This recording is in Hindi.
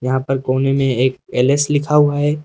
यहां पर कोने में एक एल_एस लिखा हुआ है।